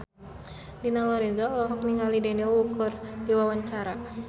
Dina Lorenza olohok ningali Daniel Wu keur diwawancara